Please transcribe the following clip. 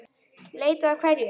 Leita að hverju?